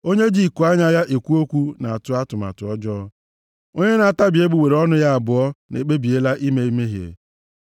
Onye ji ikuanya ya ekwu okwu na-atụ atụmatụ ọjọọ, onye na-atabi egbugbere ọnụ ya abụọ ekpebiela ime mmehie.